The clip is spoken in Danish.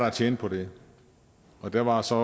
at tjene på det der var så